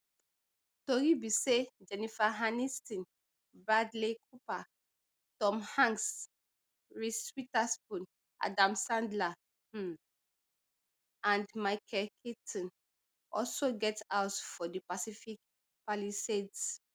tori be say jennifer aniston bradley cooper tom hanks reese witherspoon adam sandler um and michael keaton also get house for di pacific palisades